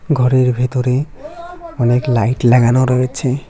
ঘরের ভেতরে অনেক লাইট লাগানো রয়েছে।